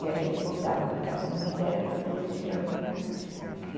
E a gente voltava, porque a comida era uma coisa extraordinária.